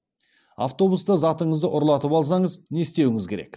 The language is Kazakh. автобуста затыңызды ұрлатып алсаңыз не істеуіңіз керек